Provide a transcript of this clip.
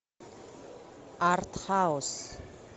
артхаус